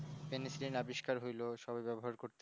recording আবিষ্কার হইল সবাই ব্যবহার করল